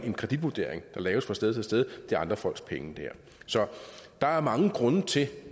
en kreditvurdering der laves fra sted til sted det her er andre folks penge så der er mange grunde til